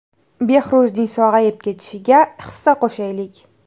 Behruzning sog‘ayib ketishiga hissa qo‘shaylik!